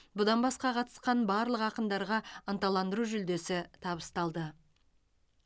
бұдан басқа қатысқан барлық ақындарға ынталандыру жүлдесі табысталды